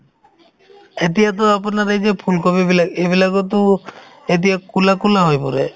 এতিয়াতো আপোনাৰ এই যে ফুলকবি বিলাক এইবিলাকতো এতিয়া ক'লা ক'লা হৈ পৰে